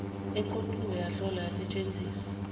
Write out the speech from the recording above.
eqoqiwe yahlolwa yasetshenziswa